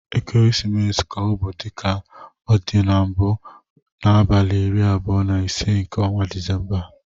Ekeresimesi ga-abụ, dịka ọ dị mbụ abụ, n'abalị iri abụo na ise nke ọnwa Disemba.